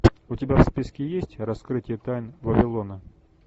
у тебя в списке есть раскрытие тайн вавилона